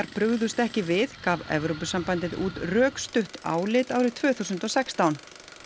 brugðust ekki við gaf Evrópusambandið út rökstutt álit árið tvö þúsund og sextán